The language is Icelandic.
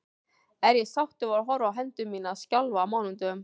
Er ég sáttur við að horfa á hendur mínar skjálfa á mánudögum?